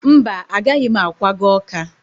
Mba, agaghị m akwaga Ọka